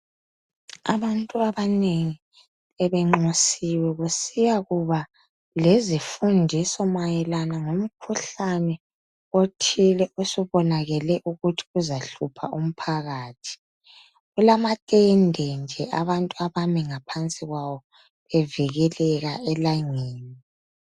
Abantu abanengi bebenxusiwe kusiya kuba lezifundiso mayelana lomkhuhlane othile obonakele ukuthi uzahlupha umphakathi. Kulamatende nje abantu abeme ngaphansi kwawo bevikeleka elangeni.